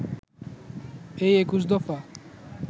এই ২১ দফা